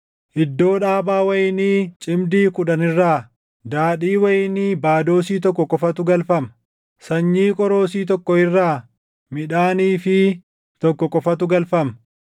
Iddoo dhaabaa wayinii cimdii kudhan irraa daadhii wayinii // baadoosii tokko qofatu galfama; sanyii qoroosii tokkoo irraa midhaan iifii tokkoo qofatu galfama.”